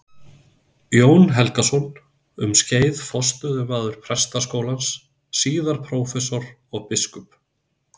Jón Helgason, um skeið forstöðumaður Prestaskólans, síðar prófessor og biskup.